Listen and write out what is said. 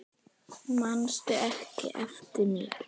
Manstu ekki eftir mér?